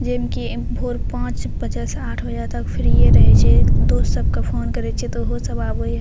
जिनकी भोर पांच बजे से आठ बजे तक फ्रीये रहे छै दोस्त सबके फोन करे छीये ते आबे छै।